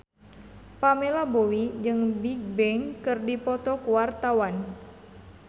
Pamela Bowie jeung Bigbang keur dipoto ku wartawan